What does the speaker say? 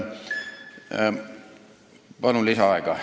Palun lisaaega!